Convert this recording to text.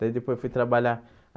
Daí, depois, fui trabalhar.